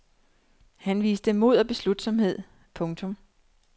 Han viste mod og beslutsomhed. punktum